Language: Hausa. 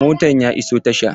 Motan ya iso tasha.